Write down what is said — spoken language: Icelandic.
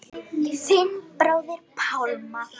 Þinn bróðir Pálmar.